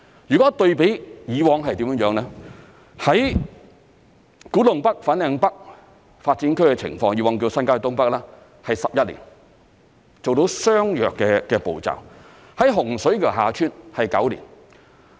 如果對比以往是怎樣呢？古洞北/粉嶺北新發展區的情況，以往叫新界東北發展，是11年才做到相若的步驟；洪水橋/厦村新發展區是9年。